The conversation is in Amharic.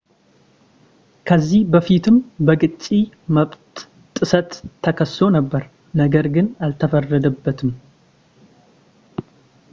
ከዚህ በፊትም በቅጂ መብት ጥሰት ተከሶ ነበር ነገር ግን አልተፈረደበትም